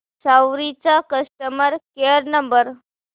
सवारी चा customer care number